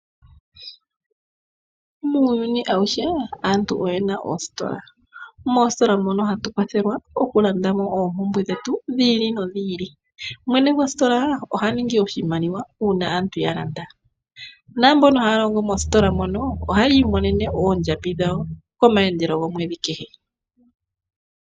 Muuyuni awuhe aantu oyena oositola. Moositola mono ohatu kwathelwa okulanda mo oompumbwe dhetu dhi ili nodhi ili. Mwene gwositola oha ningi oshimaliwa uuna aantu yalanda, naanilonga mbono haya longo moositola mono ohayi imonene oondjambi dhawo koomandelo gwomwedhi kehe.